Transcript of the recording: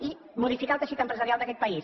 i modificar el teixit empresarial d’aquest país